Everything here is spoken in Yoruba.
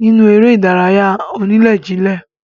nínú eré ìdárayá onílè-jilè.